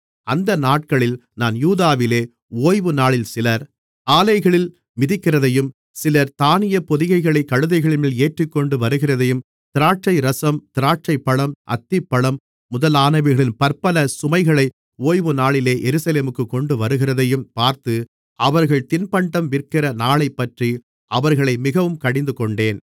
அந்த நாட்களில் நான் யூதாவிலே ஓய்வுநாளில் சிலர் ஆலைகளில் மிதிக்கிறதையும் சிலர் தானியப் பொதிகளைக் கழுதைகள்மேல் ஏற்றிக்கொண்டு வருகிறதையும் திராட்சைரசம் திராட்சைப்பழம் அத்திப்பழம் முதலானவைகளின் பற்பல சுமைகளை ஓய்வுநாளிலே எருசலேமுக்குக் கொண்டுவருகிறதையும் பார்த்து அவர்கள் தின்பண்டம் விற்கிற நாளைப்பற்றி அவர்களை மிகவும் கடிந்துகொண்டேன்